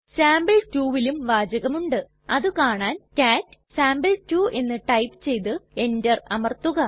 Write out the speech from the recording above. sample 2ലും വാചകമുണ്ട് അതുകാണാൻ കാട്ട് സാംപിൾ2 എന്ന് ടൈപ്പ് ചെയ്തു എന്റർ അമർത്തുക